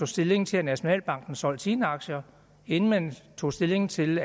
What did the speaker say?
stilling til at nationalbanken solgte sine aktier og inden man tog stilling til